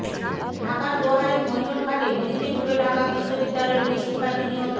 ঢাকার দোহারের মৈনটঘাটে নদীতে ডুবে ঢাকা বিশ্ববিদ্যালয়ের দুই শিক্ষার্থী নিহত